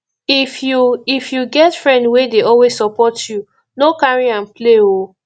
if you if you get friend wey dey always support you no carry am play oo